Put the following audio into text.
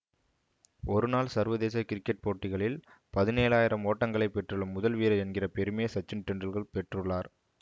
ஒரு நாள் சர்வதேச கிரிக்கெட் போட்டிகளில் பதினேழு ஆயிரம் ஓட்டங்களை பெற்றுள்ள முதல் வீரர் என்கிற பெருமையை சச்சின் டெண்டுல்கர் பெற்றுள்ளார்